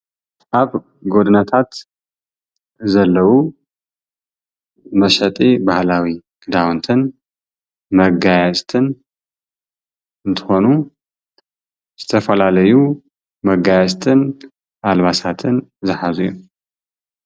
ኣብ ጎደናታት ዘለዉ መሸጢ ባህላዊ ክዳዉንትን መጋየፅትን እንትኾኑ ዝተፈላለዩ መጋየፅትን ኣልባሳትን ዝሓዙ እዮም።